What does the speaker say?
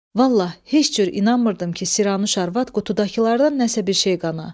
Vallahi heç cür inanmırdım ki, Siranuş arvad qutudakılardan nəsə bir şey qana.